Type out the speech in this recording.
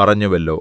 പറഞ്ഞുവല്ലോ